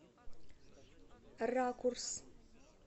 ракурс